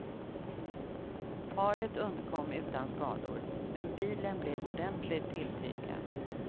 Paret undkom utan skador, men bilen blev ordentligt tilltygad.